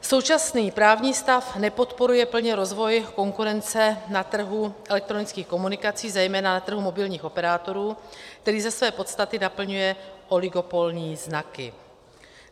Současný právní stav nepodporuje plně rozvoj konkurence na trhu elektronických komunikací, zejména na trhu mobilních operátorů, který ze své podstaty naplňuje oligopolní znaky.